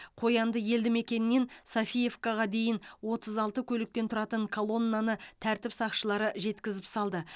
қоянды елді мекенінен софиевкаға дейін отыз алты көліктен тұратын колоннаны тәртіп сақшылары жеткізіп салды